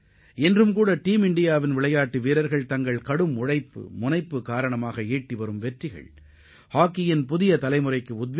தற்போதுகூட இந்திய அணியில் இடம்பெற்றுள்ள வீரர்கள் தங்களது கடின உழைப்பு மற்றும் இலக்கை நோக்கிய கவனத்தால் இளைய தலைமுறையினருக்கு ஊக்கமளிப்பவர்களாகத் திகழ்கின்றனர்